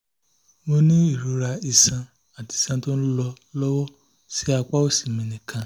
mo ní ìrora iṣan àti iṣan tó ń lọ lọ́wọ́ ní apá òsì mi nìkan